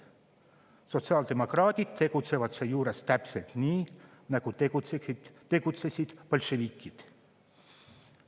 Sotsiaaldemokraadid tegutsevad seejuures täpselt nii, nagu tegutsesid bolševikud.